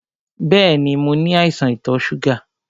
Bẹ́ẹ̀ni, mo ní àìsàn ìtò ṣúgà.